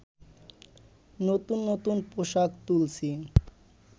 নতুন নতুন পোশাক তুলছি